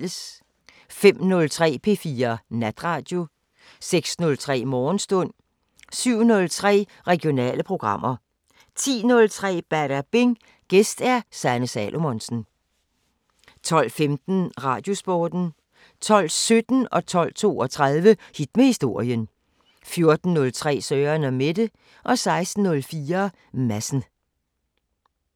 05:03: P4 Natradio 06:03: Morgenstund 07:03: Regionale programmer 10:03: Badabing: Gæst Sanne Salomonsen 12:15: Radiosporten 12:17: Hit med historien 12:32: Hit med historien 14:03: Søren & Mette 16:04: Madsen